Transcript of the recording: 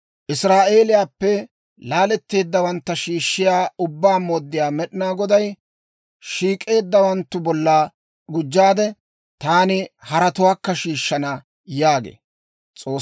Israa'eeliyaappe laaletteeddawantta shiishshiyaa, Ubbaa Mooddiyaa Med'inaa Goday, «Shiik'eeddawanttu bolla gujjaade, taani haratuwaakka shiishshana» yaagee.